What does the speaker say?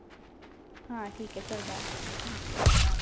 हा ठिक आहे, चल Bye.